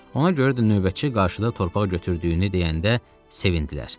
Ona görə də növbəti qarşıda torpaq götürdüyünü deyəndə sevindilər.